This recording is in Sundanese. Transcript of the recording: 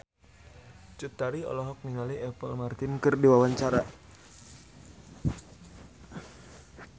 Cut Tari olohok ningali Apple Martin keur diwawancara